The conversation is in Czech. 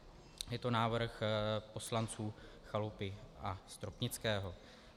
Je to návrh poslanců Chalupy a Stropnického.